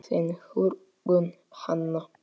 Þín, Hugrún Hanna.